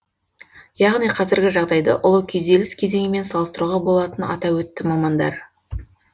яғни қазіргі жағдайды ұлы күйзеліс кезеңімен салыстыруға болатынын атап өтті мамандар